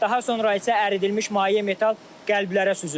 Daha sonra isə əridilmiş maye metal qəlblərə süzülür.